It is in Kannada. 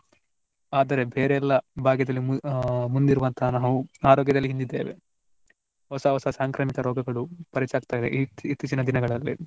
ಆದರೆ ಬೇರೆಲ್ಲಾ ಭಾಗ್ಯದಲ್ಲಿ ಮು~ ಆ ಮುಂದಿರುವಂತಹ ನಾವು ಆರೋಗ್ಯದಲ್ಲಿ ಹಿಂದಿದ್ಧೇವೆ. ಹೊಸ ಹೊಸ ಸಾಂಕ್ರಾಮಿಕ ರೋಗಗಳು ಪರಿಚಯವಾಗ್ತ ಇದೆ ಇತ್ತೀ~ ಇತ್ತೀಚಿನ ದಿನಗಳಲ್ಲಿ.